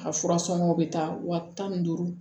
A fura sɔngɔw bɛ taa wa tan ni duuru